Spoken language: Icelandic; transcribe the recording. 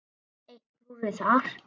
Enn eitt klúðrið þar!